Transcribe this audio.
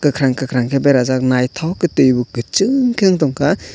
kakrang kakrang ke berejak nythok a twi bw kuchung ke ung tonkha.